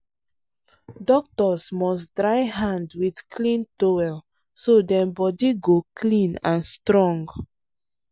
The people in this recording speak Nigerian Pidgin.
doctors must dry hand with clean towel so dem body go clean and strong.